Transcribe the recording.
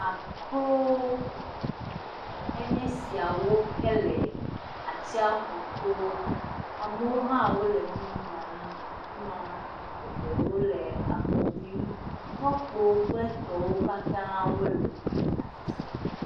Akro enye siawo ke le atsiaƒu to.amewo hã wole enu nyam le ai ma, eɖewo le akɔ ɖim, tɔkpowo kple etɔwo katã wole afi sia.